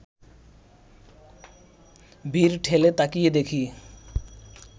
ভিড় ঠেলে তাকিয়ে দেখি